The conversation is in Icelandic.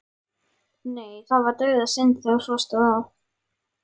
Nei, það var dauðasynd þegar svo stóð á.